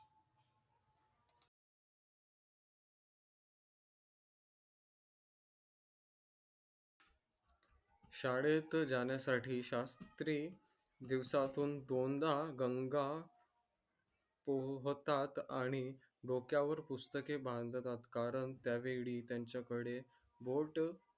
शाळेत जाण्या साठी शास्त्री दिवसा तून दोनदा हा गंगा. होतात आणि डोक्यावर पुस्तके बांधतात कारण त्यावेळी त्यांच्याकडे boat